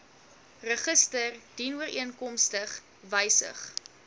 register dienooreenkomstig wysig